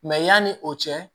yanni o cɛ